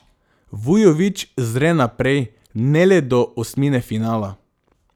Vujović zre naprej, ne le do osmine finala.